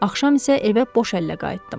Axşam isə evə boş əllə qayıtdım.